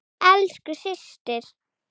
Elsku systir.